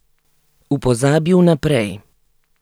V pozabi vnaprej.